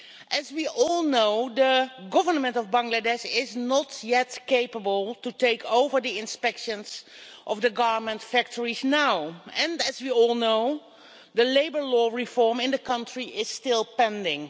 As we all know, the Government of Bangladesh is not yet capable of taking over the inspections of the garment factories, and, as we all know, the labour law reform in the country is still pending.